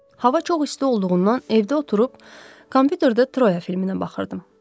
Hava çox isti olduğundan evdə oturub kompyuterdə Troya filminə baxırdım.